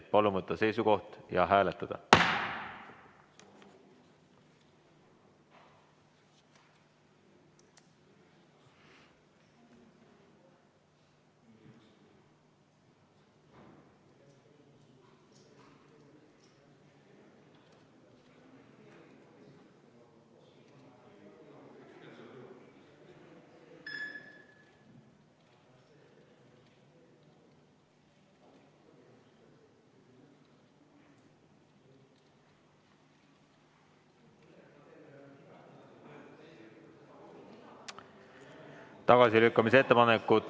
Palun võtta seisukoht ja hääletada!